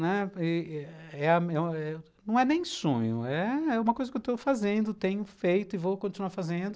Não é nem sonho, é uma coisa que eu estou fazendo, tenho feito e vou continuar fazendo.